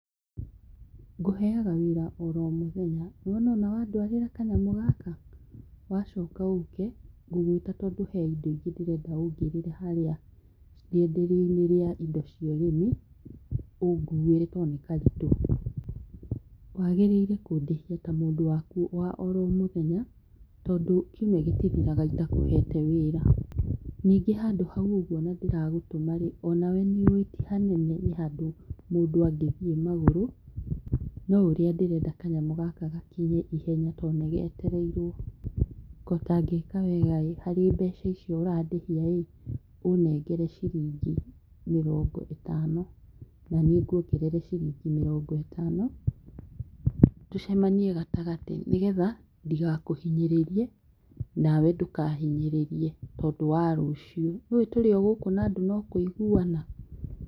Ngũheaga wĩra oro mũthenya, nĩwona ona wanduarĩra kanyamũ gaka? wacoka ũke, ngũgwita tondũ he indo ingĩ ndĩrenda ũngĩrĩre harĩa rĩenderioinĩ rĩa indo cia ũrĩmi, ũnguĩre tondũ ni karitũ. Wagĩrĩire kũndĩhia ta mũndũ waku wa oro mũthenya tondũ kiumia gĩtithiraga itakũhete wĩra. Ningĩ handũ hau ona ndĩragũtumarĩ, onawe nĩuĩ ti hanene nĩ handũ mũndũ angĩthiĩ magũru, no ũrĩa ndĩrenda kanyamũ gaka gakinye ihenya to nĩgetereirwo . Kotangĩka wegai, harĩ mbeca icio ũrandĩhia rĩ, ũnengere ciringi mĩrongo ĩtano naniĩ ngwongere ciringi mĩrogo ĩtano tũcemanie gatagatĩ nĩgetha ndigakũhinyĩrĩrie, nawe ndũkahinyĩrĩrie tondũ wa rũciũ. Nĩũi tũrĩogũkũ na andũ no kũiguana.